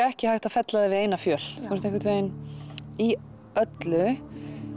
ekki hægt að fella þig við eina fjöl þú ert í öllu